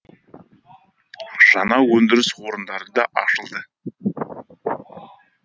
жаңа өндіріс орындары да ашылды